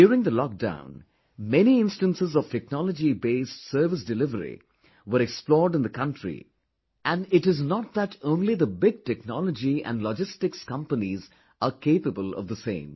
During the lockdown, many instances of technology based service delivery were explored in the country and it is not that only the big technology and logistic companies are capable of the same